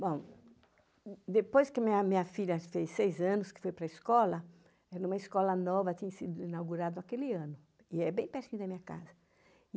Bom, depois que minha filha fez seis anos, que foi para escola, era uma escola nova, tinha sido inaugurada naquele ano, e é bem pertinho da minha casa.